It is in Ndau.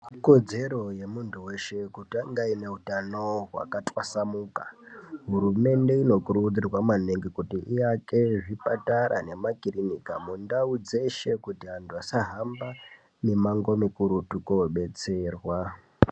Ikodzero yemuntu weshe kuti ange aine utano hwakatwasamuka. Hurumende inokurudzirwa maningi kuti iake zvipatara nemakirinika mundau dzeshe, kuti antu asahamba mimango mikurutu koodetserwa.